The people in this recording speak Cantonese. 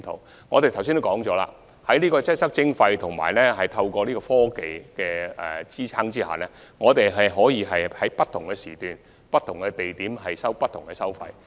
正如我剛才所述，在"擠塞徵費"研究及科技的支持下，我們可以在不同時段不同地點，收取不同費用。